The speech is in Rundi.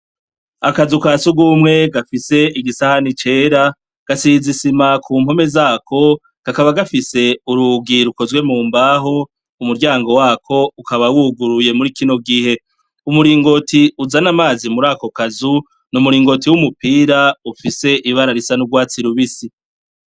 Akazu kasugumwe gafise igisahani cera, gasize isima ku mpome zako kakaba gafise urugi rukozwe mu mbaho, umuryango wako ukaba wuguruye muri kino gihe, umuringoti uzana amazi murako kazu, n'umuringoti w'umupira ufise ibara risa n'ugwatsi rubisi.